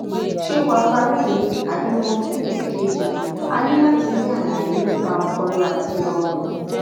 ṣé warfarin ni àbí morphine èkejì a ní láti rí àlàyé nípa ọpọlọ àti ọrùn